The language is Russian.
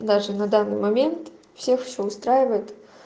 даже на данный момент всех все устраивает